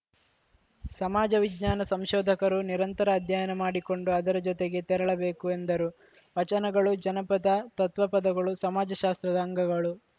ಸಮಾಜ ವಿಜ್ಞಾನ ಸಂಶೋಧಕರು ನಿರಂತರ ಅಧ್ಯಯನ ಮಾಡಿಕೊಂಡು ಅದರ ಜೊತೆಗೆ ತೆರಳಬೇಕು ಎಂದರು ವಚನಗಳು ಜನಪದ ತತ್ವಪದಗಳು ಸಮಾಜಶಾಸ್ತ್ರದ ಅಂಗಗಳು